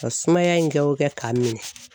Ka sumaya in kɛ o kɛ k'a min